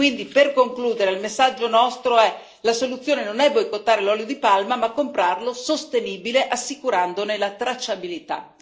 Quindi, per concludere, il nostro messaggio è questo la soluzione non è boicottare l'olio di palma ma comprarlo sostenibile, assicurandone la tracciabilità.